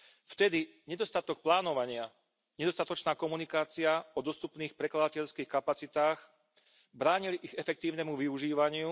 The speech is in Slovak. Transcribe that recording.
Vtedy nedostatok plánovania, nedostatočná komunikácia o dostupných prekladateľských kapacitách bránili ich efektívnemu využívaniu.